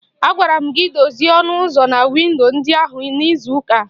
Agwara m gị dozie ọnụ ụzọ na windo ndị ahụ n'izu ụka a!